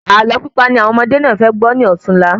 Ààlọ́ pípa ni àwọn ọmọdé náà fẹ gbọ́ ní òtunla